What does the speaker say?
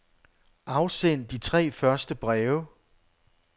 Afsend de tre første breve.